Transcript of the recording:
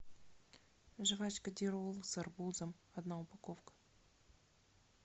жвачка дирол с арбузом одна упаковка